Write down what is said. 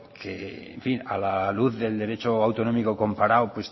que en fin a la luz del derecho autonómico comparado